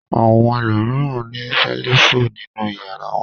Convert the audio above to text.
Àwọn ẹlòmíràn ní ṣẹ́lífù nínú ìyàrá wọn.